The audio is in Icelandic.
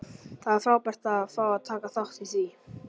Það er frábært að fá að taka þátt í því.